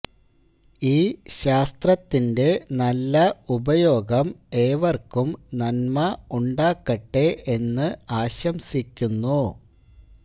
ഈ ശാസ്ത്രത്തിന്റെ നല്ല ഉപയോഗം ഏവര്ക്കും നന്മ ഉണ്ടാക്കട്ടെ എന്ന് ആശംസിക്കുന്നു